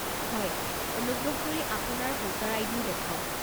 হয়। অনুগ্ৰহ কৰি আপোনাৰ ভোটাৰ আই ডি ও দেখাওক।